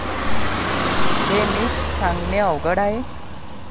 हे मीच सांगणे अवघड आहे.